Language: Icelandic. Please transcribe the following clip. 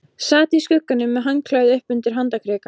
Sat í skugganum með handklæði upp undir handarkrika.